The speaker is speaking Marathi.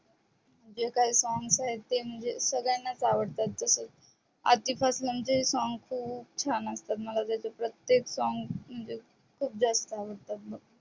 म्हणजे काही songs आहेत ते म्हणजे संगल्यानच आवडतात तसच अरतीपेरसोन चे song पण खूप छान असतात मला तेच song म्हणजे खूप जास्त आवडतात बघ